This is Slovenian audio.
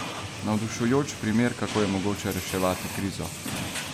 Navdušujoč primer, kako je mogoče reševati krizo!